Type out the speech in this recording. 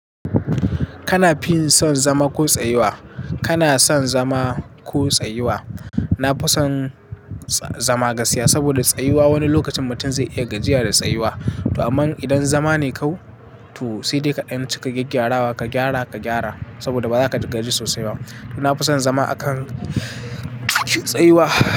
Kana fin son zama ko tsayuwa? Kana son zama ko tsayuwa? Na fi son zama gaskiya saboda tsayuwa wani lokacin mutum zai iya gajiya da tsayuwa. Amma idan zama ne kau, to sai dai kaɗan ceka gyaggyarawa ka gyara ka gyara saboda ba za ka gaji sosai ba. Na fi son zama akan tsayuwa.